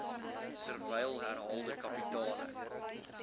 terwyl herhaalde kapitale